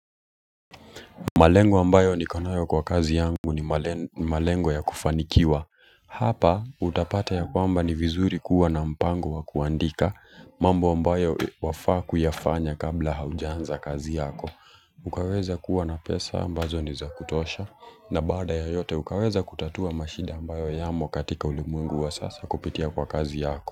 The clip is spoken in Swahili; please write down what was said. Malengo ambayo niko nayo kwa kazi yangu ni malengo ya kufanikiwa. Hapa utapata ya kwamba ni vizuri kuwa na mpango wa kuandika mambo ambayo wafaa kuyafanya kabla haujanza kazi yako. Ukaweza kuwa na pesa ambazo ni za kutosha na baada ya yote ukaweza kutatua mashida ambayo yamo katika ulimwengu wa sasa kupitia kwa kazi yako.